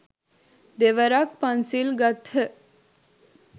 දෙවරක් පන්සිල් ගත්හ.